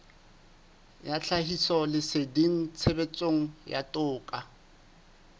ya tlhahisoleseding tshebetsong ya toka